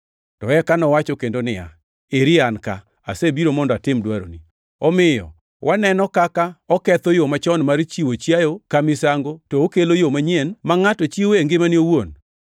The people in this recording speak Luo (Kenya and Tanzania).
To eka nowacho kendo niya, “Eri an ka, asebiro mondo atim dwaroni.” Omiyo waneno kaka oketho yo machon mar chiwo chiayo ka misango to okelo yo manyien ma ngʼato chiwoe ngimane owuon.